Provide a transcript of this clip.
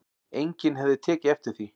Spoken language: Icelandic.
Enginn hefði tekið eftir því